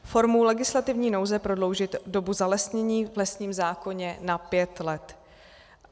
formou legislativní nouze prodloužit dobu zalesnění v lesním zákoně na pět let;